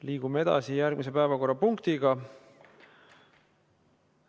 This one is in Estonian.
Liigume edasi järgmise päevakorrapunkti juurde.